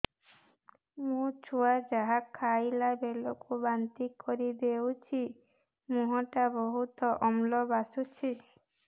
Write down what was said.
ମୋ ଛୁଆ ଯାହା ଖାଇଲା ବେଳକୁ ବାନ୍ତି କରିଦଉଛି ମୁହଁ ଟା ବହୁତ ଅମ୍ଳ ବାସୁଛି